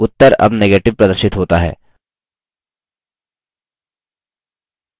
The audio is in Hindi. उत्तर अब negative प्रदर्शित होता है